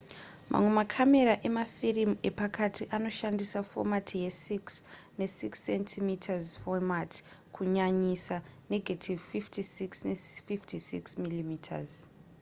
mamwe makamera emafirimu epakati anoshandisa fomati ye6 ne6 cm fomati kunyanyisa negative 56 ne56 mm